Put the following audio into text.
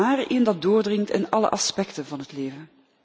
maar een thema dat doordringt in alle aspecten van het leven.